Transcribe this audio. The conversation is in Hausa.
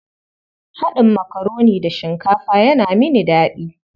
Haɗin makaroni da shinkafa yana mini daɗi.